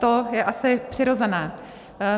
To je asi přirozené.